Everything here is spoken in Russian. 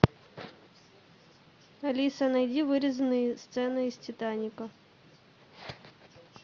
алиса найди вырезанные сцены из титаника